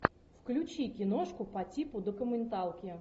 включи киношку по типу документалки